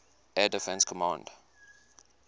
air defense command